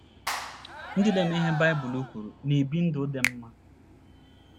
Ndị na - eme ihe Baịbụl kwuru na - ebi ndụ dị mma.